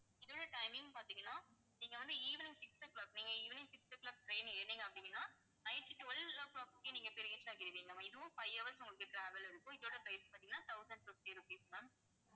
இதில timing பார்த்தீங்கன்னா நீங்க வந்து evening six o'clock நீங்க evening six o'clock train ஏறுனீங்க அப்படின்னா night twelve o'clock க்கே நீங்க போய் reach ஆகிருவீங்க இதுவும் five hours உங்களுக்கு travel இருக்கும். இதோட price பார்த்தீங்கன்னா thousand fifty rupees ma'am